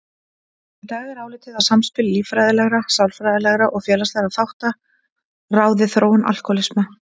Í dag er álitið að samspil líffræðilegra, sálfræðilegra og félagslegra þátta ráði þróun alkóhólisma.